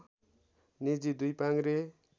निजी दुई पाङ्ग्रे